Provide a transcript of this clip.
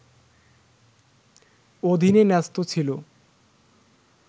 অধীনে ন্যস্ত ছিল